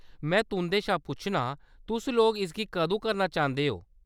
में तुंʼदे शा पुच्छनां, तुस लोक इसगी कदूं करना चांह्‌‌‌दे ओ ?